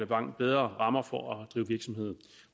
langt bedre rammer for at drive virksomhed